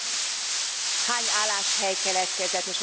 Tehát hány álláshely keletkezett?